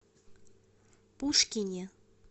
пушкине